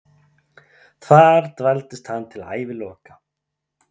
Þar dvaldist hann til æviloka.